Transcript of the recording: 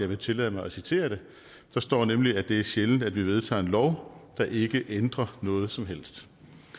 vil tillade mig at citere det der står nemlig at det er sjældent at vi vedtager en lov der ikke ændrer noget som helst